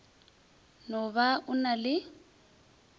no ba o na le